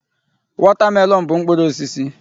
wọtamelọn bụ mkpụrụ osisi.